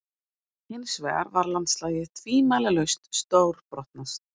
Hinsvegar var landslagið tvímælalaust stórbrotnast.